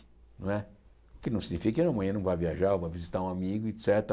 Não é o que não significa que amanhã não vá viajar, vá visitar um amigo, et cétera.